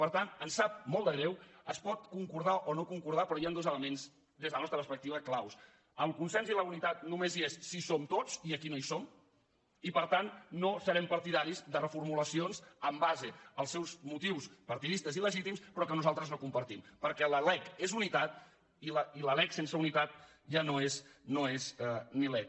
per tant ens sap molt de greu es pot concordar o no concordar però hi han dos elements des de la nostra perspectiva clau el consens i la unitat només hi són si hi som tots i aquí no hi som i per tant no serem partidaris de reformulacions en base als seus motius partidistes i legítims però que nosaltres no compartim perquè la lec és unitat i la lec sense unitat ja no és ni lec